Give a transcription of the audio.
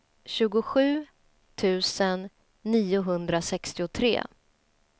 tjugosju tusen niohundrasextiotre